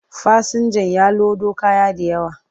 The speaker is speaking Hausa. Fasinjan ya lodo kaya da yawa,